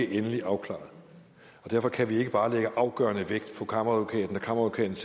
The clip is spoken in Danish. endeligt afklaret derfor kan vi ikke bare lægge afgørende vægt på kammeradvokatens